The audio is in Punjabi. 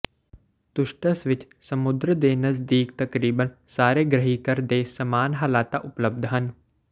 ਤੁਸਟਸ ਵਿਚ ਸਮੁੰਦਰ ਦੇ ਨਜ਼ਦੀਕ ਤਕਰੀਬਨ ਸਾਰੇ ਗ੍ਰਹਿਘਰ ਦੇ ਸਮਾਨ ਹਾਲਤਾਂ ਉਪਲਬਧ ਹਨ